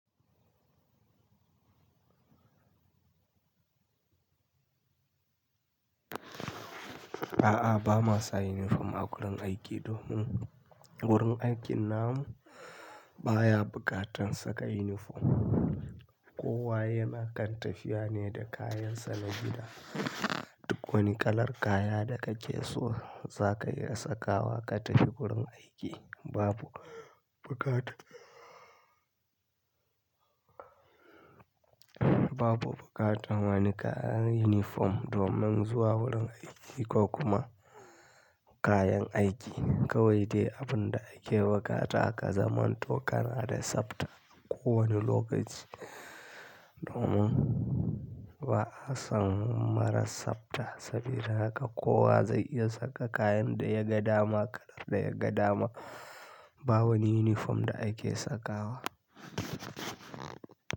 A'a, ba ma sa uniform a wurin aiki domin wurin aikin namu baya buƙatar saka uniform. Kowa yana kan tafiya ne da kayansa na gida. Duk wani kalar kaya da kace so zaka iya sakawa ka tafi wurin aiki babu buƙata. Babu buƙatar wani kalan uniform domin zuwa wurin aiki ko kuma kayan aiki. Kawai dai abun da ake buƙata a zaman to kana da sabta ko wani lokaci. Domin ba'a san marar sabta saboda haka kowa zai iya saka kayan da ya ga dama, kalar da ya ga dama. Ba wani uniform da ake sakawa.